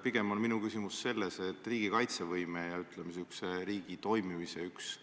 Pigem on minu küsimus selles, et riigi kaitsevõime ja riigi toimimise üks